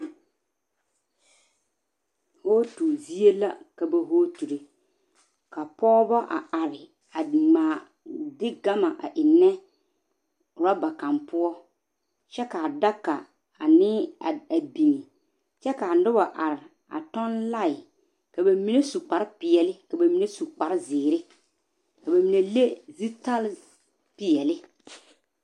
voote zie la ka ba boore ka pɔgbɔ a are a ngmaa de gama a engnɛ oraba kang poɔ kyɛ ka daga ane a bin kyɛ ka noba are a tɔn lae ka ba mine su kpare peɛle ka ba mine su kpare zeere ka ba mine le zutare peɛle